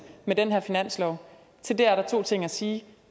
med den her finanslov til det er der to ting at sige